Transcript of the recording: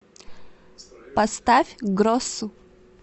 поставь гросу